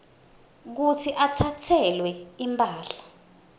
kutsi atsatselwe imphahla